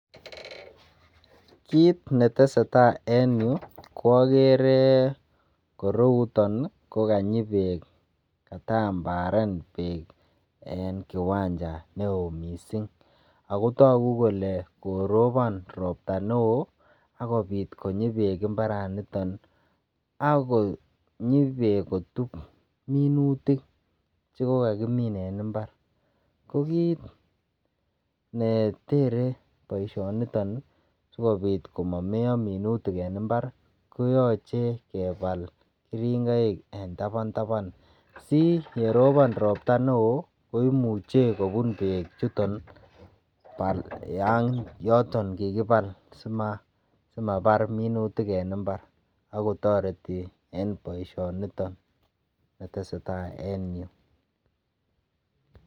Kit neteseta enyu koagere ko kanyi beek. Kataambaren beek en kiwanja neo mising ago tagu kole korobon ropta neo ak kopit konyi beek imbaranito ak konyi beek ak kotup minutik che kogakimin en imbar. Ko kit ne tere boisionito sigopit komameiyo minutik en imbar koyoche kebal keringoik en taban taban. Siyerobon ropta neo koimuche kobun beechuton yoton kikibal simabar minutik en imbar ak kotoreti en boisionoto neteseta en yu.